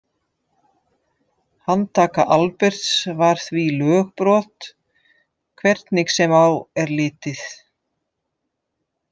Handtaka Alberts var því lögbrot hvernig sem á er litið.